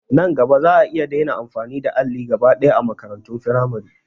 Nan gaba za'a iya daina amfani da alli gaba ɗaya a makarantun firamare